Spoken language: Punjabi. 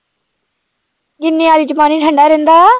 ਕਿੰਨੇ ਵਾਲੀ ਚ ਪਾਣੀ ਠੰਢਾ ਰਹਿੰਦਾ?